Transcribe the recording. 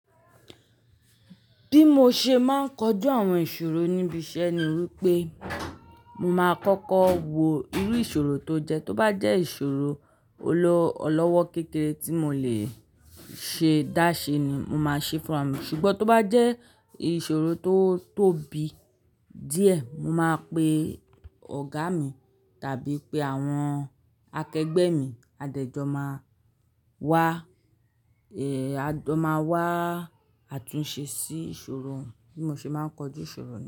Bí mo ṣe máa ń kojú àwọn ìṣòro níbi iṣẹ́ ni wípé, mo máa kọ́kọ́ wo irú ìṣòro tó jẹ́. Tó bá jẹ́ ìṣòro ọlọ́wọ́ kékeré tí mo lè ṣe dáṣẹ ni, mo máa ṣe é fúnra mi, ṣùgbọ́n tó bá jẹ́ ìṣòro tó tóbi díẹ̀, mo máa pe ọ̀gá mi tàbí pé àwọn akẹgbẹ́ mi a dẹ̀ jọ máa wá, a jọ máa wá àtúnṣe sí ìṣòro. Bí mo ṣe máa ń kojú ìṣòro nìyí.